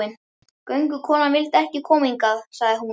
Göngukonan vildi ekki koma hingað, sagði hún.